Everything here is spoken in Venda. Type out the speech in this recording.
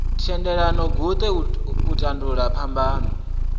thendelano guṱe u tandulula phambano